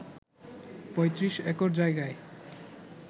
৩৫ acre জায়গায়